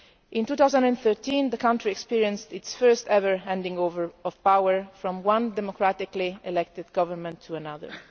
In 2013 the country experienced its first ever handing over of power from one democratically elected government to another.